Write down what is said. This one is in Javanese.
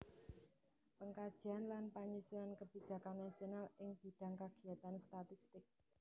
Pengkajian lan panyusunan kebijakan nasional ing bidhang kagiyatan statistik